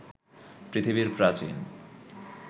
পৃথিবীর প্রাচীন